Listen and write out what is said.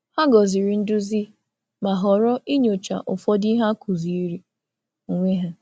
Hà gọzìrì nduzi, nduzi, ma họrọ inyochaa ụfọdụ ihe a kụziri onwe ha.